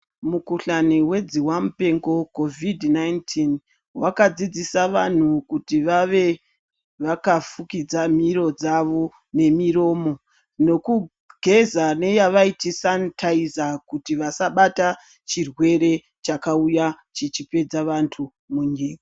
Mukuhlani wedzihwamupengo, COVID-19, wakadzidzisa vantu kuti vave vakafukidza miro dzavo nemiromo, nekugeza neyavaiti sanitaiza kuti vasabata chirwere chakauya chichipedza vantu munyika.